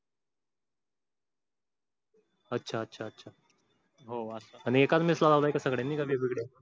अच्छा अच्छा अच्छा. आणि एकाच mess ला लावलय का सगळेनि काय वेगळ वेगळ